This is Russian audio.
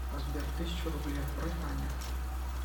сбер тысячу рублей отправь ане